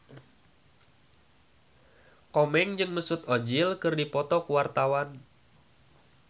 Komeng jeung Mesut Ozil keur dipoto ku wartawan